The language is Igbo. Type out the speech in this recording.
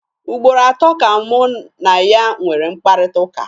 Ugboro atọ ka mụ na ya nwere mkparịkọtaụka.